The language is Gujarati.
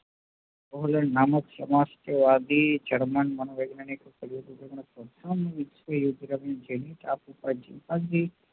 ગોવર્ધન નામક સમાજસેવા થી જડમાન મનોવૈજ્ઞાની